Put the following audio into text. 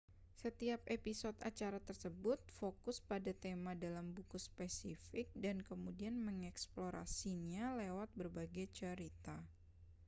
setiap episode acara tersebut fokus pada tema dalam buku spesifik dan kemudian mengeksplorasinya lewat berbagai cerita